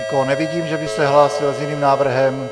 Nikoho nevidím, že by se hlásil s jiným návrhem.